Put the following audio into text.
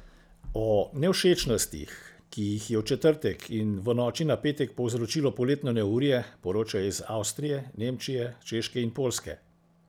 O nevšečnostih, ki jih je v četrtek in v noči na petek povzročilo poletno neurje, poročajo iz Avstrije, Nemčije, Češke in Poljske.